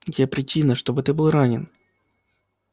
где причина что ты был ранен